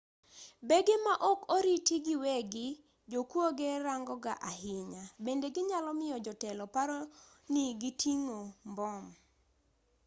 bege ma ok oriti gi weggi jokuoge rangoga ahinya bende ginyalo miyo jotelo paro ni giting'o mbom